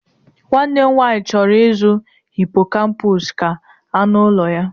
Nwanne m nwanyị chọrọ ịzụ hippocampus ka anụ ụlọ ya.